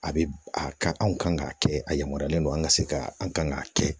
A bɛ a ka anw kan k'a kɛ a yamaruyalen don an ka se ka an k'a kɛ